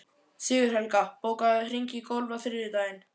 Sigurhelga, bókaðu hring í golf á þriðjudaginn.